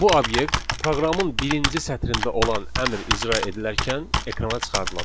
Bu obyekt proqramın birinci sətrində olan əmr icra edilərkən ekrana çıxarılacaq.